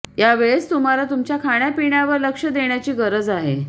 या वेळेस तुम्हाला तुमच्या खाण्यापिण्यावर लक्ष्य देण्याची गरज आहे